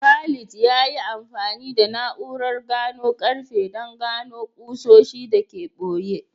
Khalid ya yi amfani da na’urar gano karfe don gano ƙusoshi da ke ɓoye.